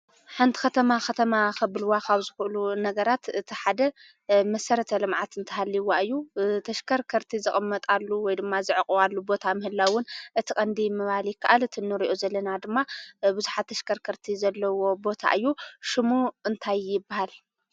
ሓንቲ ከተማ ከተማ ከብልዋ ዝክእሉ ነገራት እቲ ሓደ መሰረተ ልምዓት እንተሃልይዋ እዩ፡፡ ተሽከርከርቲ ዝቅመጣሉ ወይ ድማ ዘዕቅባሉ ቦታ ምህላውን እቲ ቀንዲ ምባል ይካኣል፡፡ እቲ እንሪኦ ዘለና ድማ ቡዙሓት ተሽከርከርቲ ዘለዎ ቦታ እዩ፡፡ ሽሙ እንታይ ይባሃል?